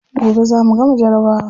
Gobe za mu gama jarabawa.